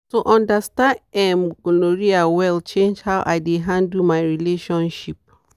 to understand um gonorrhea well change how i dey handle my relationship.